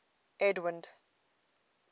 edwind